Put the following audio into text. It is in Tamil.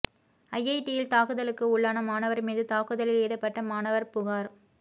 ஐஐடியில் தாக்குதலுக்கு உள்ளான மாணவர் மீது தாக்குதலில் ஈடுபட்ட மாணவர் புகார்